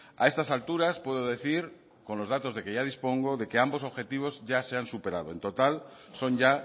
a estas alturas puedo decir con los datos de que ya dispongo de que ambos objetivos ya se han superado en total son ya